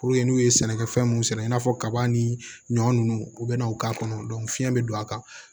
n'u ye sɛnɛkɛfɛn mun sɛnɛ i n'a fɔ kaba ni ɲɔ nunnu u bɛ na o k'a kɔnɔ fiyɛn bɛ don a kan